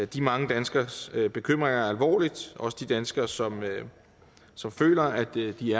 de mange danskeres bekymringer alvorligt også de danskere som som føler at de i